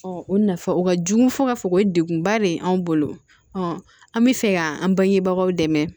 o nafa o ka jugu fo ka fɔ o ye degunba de ye anw bolo ɔ an bɛ fɛ ka an bangebagaw dɛmɛ